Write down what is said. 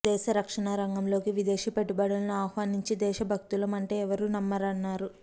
దేశ రక్షణ రంగంలోకి విదేశీ పెట్టుబడులను ఆహ్వానించి దేశ భక్తులం అంటే ఎవరూ నమ్మరన్నారు